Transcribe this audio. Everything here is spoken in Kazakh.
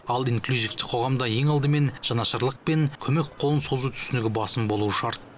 ал инклюзивті қоғамда ең алдымен жанашырлық пен көмек қолын созу түсінігі басым болуы шарт